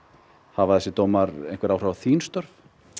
hafa þessir dómar einhver áhrif á þín störf